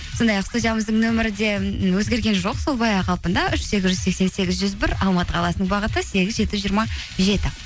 сондай ақ студиямыздың нөмірі де м өзгерген жоқ сол баяғы қалпында үш сегіз жүз сексен сегіз жүз бір алматы қаласының бағыты сегіз жеті жүз жиырма жеті